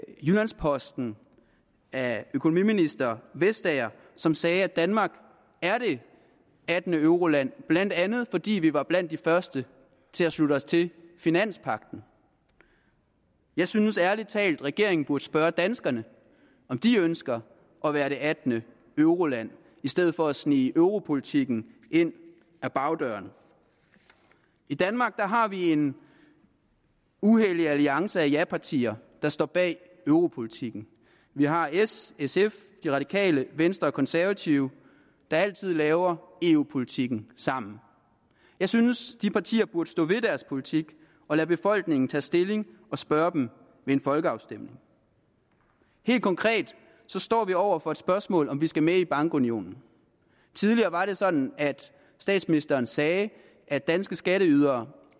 jyllands posten af økonomiministeren som sagde at danmark er det attende euroland blandt andet fordi vi var blandt de første til at slutte os til finanspagten jeg synes ærlig talt at regeringen burde spørge danskerne om de ønsker at være det attende euroland i stedet for at snige europolitikken ind ad bagdøren i danmark har vi en uhellig alliance af japartier der står bag europolitikken vi har s sf de radikale venstre og konservative der altid laver eu politikken sammen jeg synes at de partier burde stå ved deres politik og lade befolkningen tage stilling og spørge den ved en folkeafstemning helt konkret står vi over for det spørgsmål om vi skal med i bankunionen tidligere var det sådan at statsministeren sagde at danske skatteydere